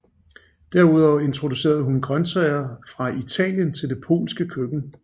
Derudover introducerede hun grøntsager fra Italien til det polske køkken